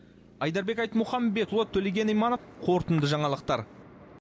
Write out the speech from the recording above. айдарбек айтмұхамбетұлы төлеген иманов қорытынды жаңалықтар